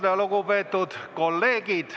Tere!